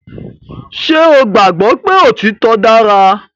Ṣé o gbàgbọ́ pé òtítọ dára